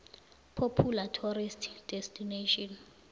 popular tourist destination